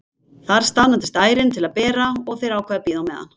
Þar staðnæmist ærin til að bera og þeir ákveða að bíða á meðan.